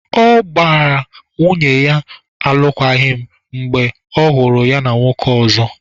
Ọ gbara nwunye ya alụkwaghịm mgbe ọhụrụ ya na nwoke ọzọ.